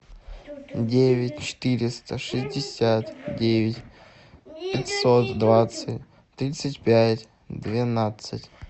девять четыреста шестьдесят девять пятьсот двадцать тридцать пять двенадцать